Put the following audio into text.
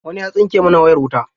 Wani ya tsinke mana wayar wuta.